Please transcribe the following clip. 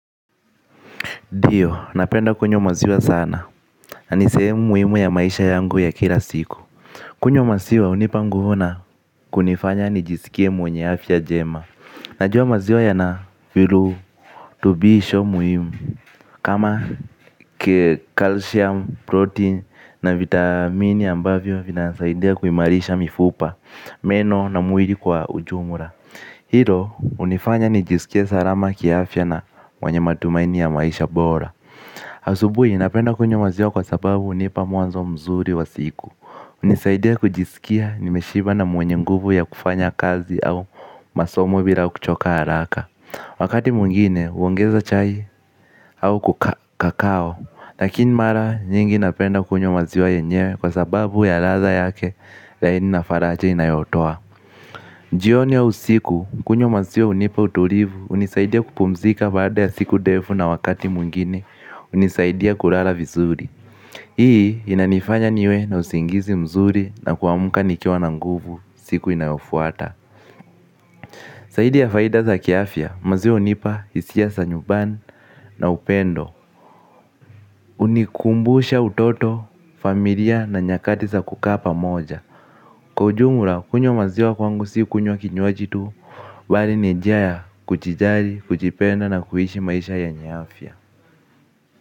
Ndio, napenda kunywa maziwa sana. Na ni sehemu muimu ya maisha yangu ya kila siku. Kunywa maziwa, hunipa nguvu na kunifanya nijisikie mwenye afya jema. Najuwa maziwa yana virutubisho muimu. Kama calcium, protein na vitamini ambavyo vinanisaidia kuimarisha mifupa, meno na mwiri kwa ujumura. Hilo, unifanya nijisikie sarama kiafya na mwenye matumaini ya maisha bora. Asubui napenda kunywa maziwa kwa sababu hunipa mwanzo mzuri wa siku. Unisaidia kujisikia nimeshiba na mwenye nguvu ya kufanya kazi au masomo bila kuchoka haraka. Wakati mwingine uongeza chai au kukaa kakao. Lakini mara nyingi napenda kunywa maziwa yenyewe kwa sababu ya radha yake lakini na faracha inayotoa. Jioni au usiku kunywa maziwa unipa utulivu unisaidia kupumzika baada ya siku defu na wakati mwingine unisaidia kurala vizuri. Hii inanifanya niwe na usingizi mzuri. Na kuamka nikiwa na nguvu. Siku inayofuata. Saidi ya faida za kiafya maziwa unipa isia sa nyuban na upendo. Unikumbusha utoto, familia na nyakati za kukaa pamoja. Kwa ujumura kunywa maziwa kwangu si kunywa kinywaji tu bali ni njia ya kujijari, kujipenda na kuishi maisha yenye afya.